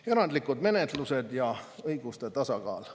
Erandlikud menetlused ja õiguste tasakaal.